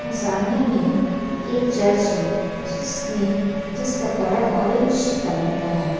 और सामने में एक चर्च है जिसमे जिसका का कलर ऑरेंज कलर का है।